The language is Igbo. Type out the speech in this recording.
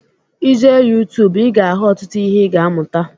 I jee youtuube ị ga ahụ ọtụtụ ihe ị ga amuta